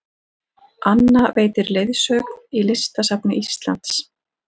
Anna veitir leiðsögn í Listasafni Íslands